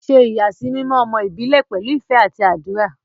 Ṣe ìyàsímímọ́ ọmọ ìbílẹ̀ pẹ̀lú ìfẹ́ àti àdúrà.